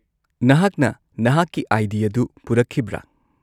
-ꯅꯍꯥꯛꯅ ꯅꯍꯥꯛꯀꯤ ꯑꯥꯏ.ꯗꯤ. ꯑꯗꯨ ꯄꯨꯔꯛꯈꯤꯕ꯭ꯔꯥ?